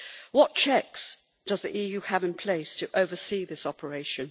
What checks does the EU have in place to oversee this operation?